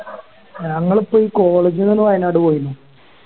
ഞങ്ങള്പ്പോ ഈ College ന്ന് വയനാട് പോയിന്